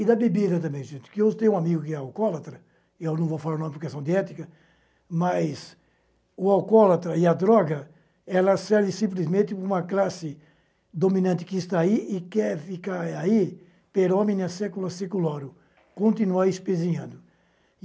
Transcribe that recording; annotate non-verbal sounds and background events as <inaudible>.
E da bebida também, gente, que eu tenho um amigo que é alcoólatra, e eu não vou falar o nome por questão de ética, mas o alcoólatra e a droga, ela serve simplesmente para uma classe dominante que está aí e quer ficar aí, <unintelligible> continuar espezinhando.